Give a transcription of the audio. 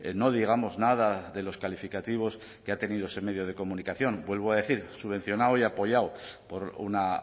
no digamos nada de los calificativos que ha tenido ese medio de comunicación vuelvo a decir subvencionado y apoyado por una